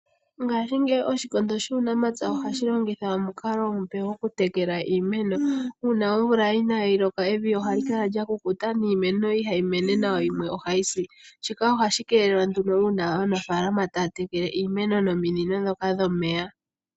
Ngaashingeyi Oshikondo shUunamapya ohashi longitha omukalo omupe gokutekela iimeno. Uuna omvula inaayi loka evi ohali kala lya kukuta niimeno ihayi mene nawa, yo yimwe ohayi si. Shika ohashi keelelwa nduno uuna aanafaalama taya tekele iimeno taya longitha ominino dhomeya.